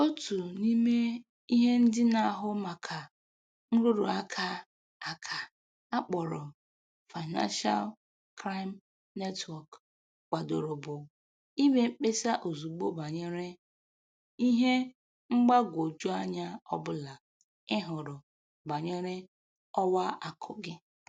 Otu n'ime ihe ndị na-ahụ maka nrụrụ aka aka a kpọrọ Financial Crime Network kwadoro bụ ime mkpesa ozugbo banyere ihe mgbagwoju anya ọbụla ị hụrụ banyere ọwa akụ gị